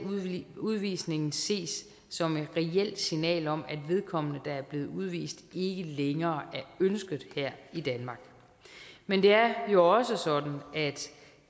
udvisningen ses som et reelt signal om at vedkommende der er blevet udvist ikke længere er ønsket her i danmark men det er jo også sådan at